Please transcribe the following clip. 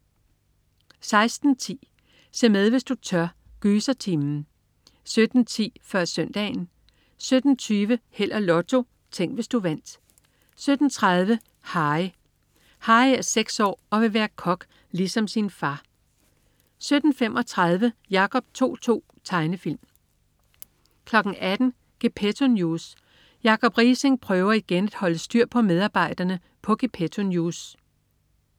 16.10 Se med hvis du tør. Gysertimen! 17.10 Før Søndagen 17.20 Held og Lotto. Tænk, hvis du vandt 17.30 Harry. Harry er seks år og vil være kok ligesom sin far 17.35 Jacob To-To. Tegnefilm 18.00 Gepetto News. Jacob Riising prøver igen at holde styr på medarbejderne på Gepetto News